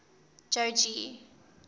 jogee